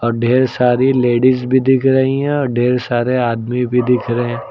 ढेर सारी लेडिस भी दिख रही हैं और ढेर सारे आदमी भी दिख रहे--